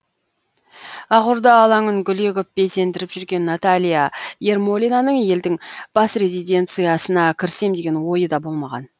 ақорда алаңын гүл егіп безендіріп жүрген наталья ермолинаның елдің бас резиденциясына кірсем деген ойы да болмаған